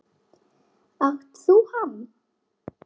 Átt þú hann?